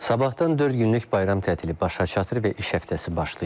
Sabahdan dörd günlük bayram tətili başa çatır və iş həftəsi başlayır.